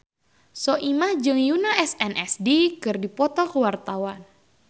Soimah jeung Yoona SNSD keur dipoto ku wartawan